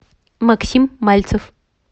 максим мальцев